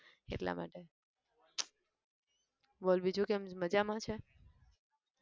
એટલા માટે બોલ બીજું કેમ મજામાં છે?